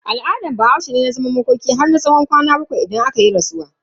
Al'adan Bahaushe ne zaman makoki har tsawon kwanaki bakwai idan akayi rasuwa.